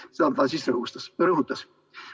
Seda ta rõhutas.